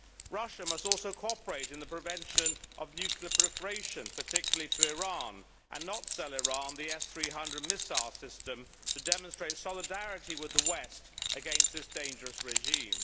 Russia must also cooperate in the prevention of nuclear proliferation, particularly to Iran, and not sell Iran the S300 missile system to demonstrate solidarity with the west against this dangerous regime.